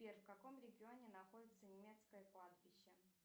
сбер в каком регионе находится немецкое кладбище